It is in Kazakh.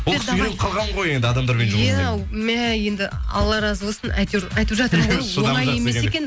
ол кісі үйреніп қалған ғой енді адамдар иә мә енді алла разы болсын әйтеуір айтып жатырмын ғой оңай емес екен